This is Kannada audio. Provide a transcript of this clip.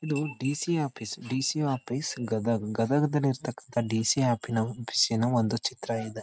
ಇದು DC. Office DC. Office Gadag Gadag ದಲ್ಲಿ ಇರತ್ತಕಂತ ಡಿ.ಸಿ ಆಫೀನ್ವ್ ಆಫೀಸ್ನ ಒಂದು ಚಿತ್ರ ಇದೆ.